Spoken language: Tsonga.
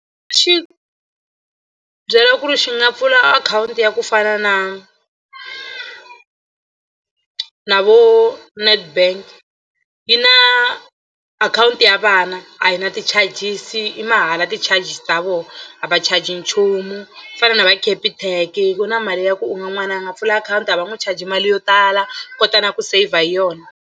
Xi byela ku ri xi nga pfula akhawunti ya ku fana na na vo Netbank yi na akhawunti ya vana a yi na ti-charges i mahala ti-charges ta vona a va charge nchumu ku fana na va capitec ku na mali ya ku u n'wana a nga pfula akhawunti a va n'wi charge mali yo tala kota na ku saver hi yona.